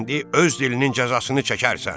İndi öz dilinin cəzasını çəkərsən.